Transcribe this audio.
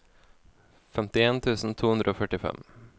femtien tusen to hundre og førtifem